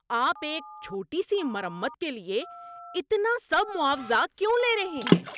آپ ایک چھوٹی سی مرمت کے لیے اتنا سب معاوضہ کیوں لے رہے ہیں؟